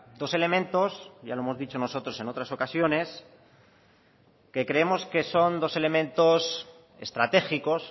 dos elementos ya lo hemos dicho nosotros en otras ocasiones que creemos que son dos elementos estratégicos